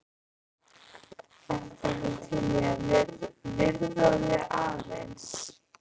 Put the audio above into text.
Ertu ekki til í að viðra þig aðeins?